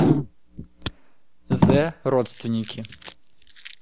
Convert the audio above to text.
зэ родственники